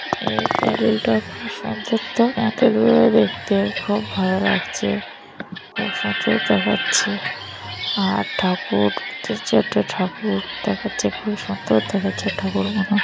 এই প্যাডেলটা খুব সুন্দর তো! দেখতে খুব ভালো লাগছে। খুব সুন্দর দেখাচ্ছে। আর ঠাকুর তিন চারটে ঠাকুর দেখাচ্ছে। খুব সুন্দর দেখাচ্ছে ঠাকুর গুনো --